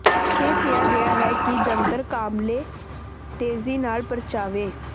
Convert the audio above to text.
ਇਹ ਕਿਹਾ ਗਿਆ ਹੈ ਕਿ ਜੰਤਰ ਕਾਬਲੇ ਤੇਜ਼ੀ ਨਾਲ ਪਰਚਾਵੇ